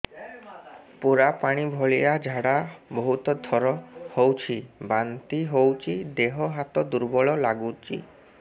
ପୁରା ପାଣି ଭଳିଆ ଝାଡା ବହୁତ ଥର ହଉଛି ବାନ୍ତି ହଉଚି ଦେହ ହାତ ଦୁର୍ବଳ ଲାଗୁଚି